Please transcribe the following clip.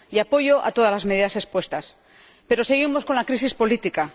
Y apoyo todas las medidas expuestas, pero seguimos con la crisis política.